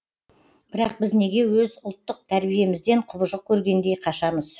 бірақ біз неге өз ұлттық тәрбиемізден құбыжық көргендей қашамыз